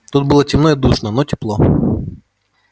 тут было темно и душно но тепло